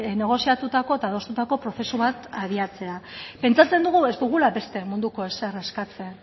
negoziatutako eta adostutako prozesu bat abiatzea pentsatzen dugu ez dugula beste munduko ezer eskatzen